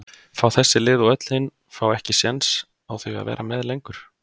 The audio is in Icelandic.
fá þessi lið og öll hin fá ekki séns á því að vera með lengur?